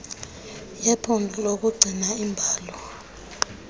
yephondo yokugcina iimbalo